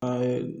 A ye